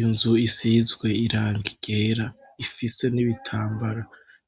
Inzu isizwe irangi ryera ifise n'ibitambara